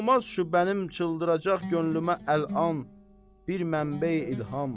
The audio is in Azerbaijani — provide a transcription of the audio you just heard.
Olmazmı şübhəmi çıldıracaq könlümə əl’an bir mənbə-i ilham?